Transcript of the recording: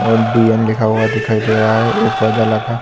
और डी.एन. लिखा हुआ दिखाई दे रहा है एक पौधा लगा--